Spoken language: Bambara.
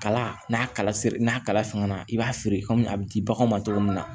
Kala n'a kala n'a kala i b'a feere kɔmi a bɛ di baganw ma cogo min na